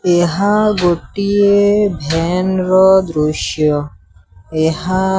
ଏହା ଗୋଟିଏ ଭ୍ୟାନ ର ଦୃଶ୍ୟ। ଏହା --